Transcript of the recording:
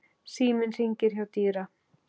Síminn hringir hjá Dýra.